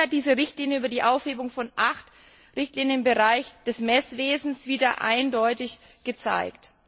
Dies hat diese Richtlinie über die Aufhebung von acht Richtlinien im Bereich des Messwesens wieder eindeutig gezeigt.